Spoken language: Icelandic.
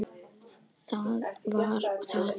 Það var það!